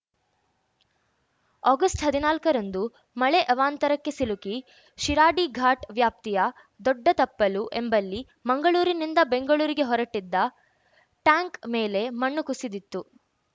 August ಹದಿನಾಲ್ಕ ರಂದು ಮಳೆ ಅವಾಂತರಕ್ಕೆ ಸಿಲುಕಿ ಶಿರಾಡಿಘಾಟ್‌ ವ್ಯಾಪ್ತಿಯ ದೊಡ್ಡತಪ್ಪಲು ಎಂಬಲ್ಲಿ ಮಂಗಳೂರಿನಿಂದ ಬೆಂಗಳೂರಿಗೆ ಹೊರಟಿದ್ದ ಟ್ಯಾಂಕ್ ಮೇಲೆ ಮಣ್ಣು ಕುಸಿದಿತ್ತು